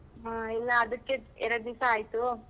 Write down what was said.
ಹಾ ಇಲ್ಲ ಅದಕ್ಕೆ ಎರ್ಡ್ ದಿಸ ಆಯ್ತು.